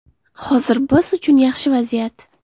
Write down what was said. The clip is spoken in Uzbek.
Hozir biz uchun yaxshi vaziyat.